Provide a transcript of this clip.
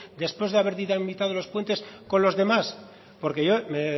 después de haber dinamizado los puentes con los demás porque yo me